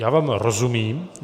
Já vám rozumím.